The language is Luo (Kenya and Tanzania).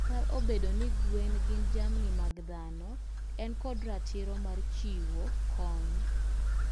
kata obedo ni gwen gin jamni mag dhano en kod ratiro mar chiwo kony